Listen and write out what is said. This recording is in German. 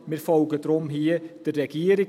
Wir folgen deshalb hier der Regierung.